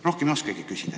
Rohkem ei oskagi küsida.